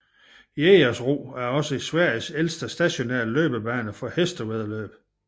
Jägersro er også Sveriges ældste stationære løbsbane for hestevæddeløb